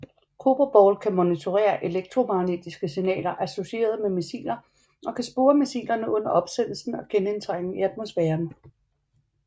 Cobra Ball kan monitorere elektromagnetiske signaler associeret med missiler og kan spore missilerne under opsendelsen og genindtrængen i atmosfæren